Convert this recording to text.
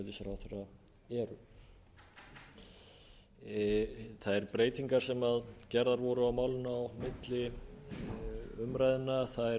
heldur en laun forsætisráðherra eru þær breytingar sem gerðar voru á málinu milli umræðna varða í fyrsta lagi það að það er